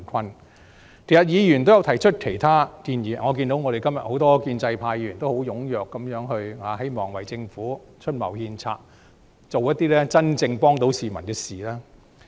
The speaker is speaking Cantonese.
事實上，議員也曾提出其他建議，我也看到今天我們很多建制派議員也很踴躍發言，希望為政府出謀獻策，做一些能真正幫到市民的事。